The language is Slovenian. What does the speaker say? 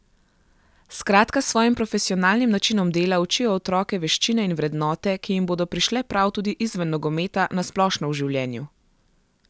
Skratka s svojim profesionalnim načinom dela učijo otroke veščine in vrednote, ki jim bodo prišle prav tudi izven nogometa, na splošno v življenju.